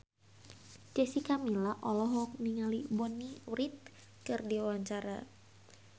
Jessica Milla olohok ningali Bonnie Wright keur diwawancara